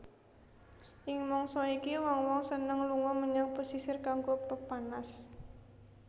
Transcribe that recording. Ing mangsa iki wong wong seneng lunga menyang pesisir kanggo pepanas